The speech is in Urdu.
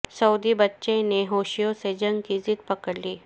سعودی بچے نے حوثیوں سے جنگ کی ضد پکڑ لی